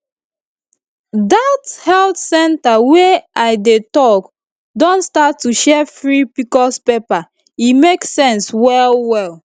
that health center wey i dey talk don start to share free pcos paper e make sense well well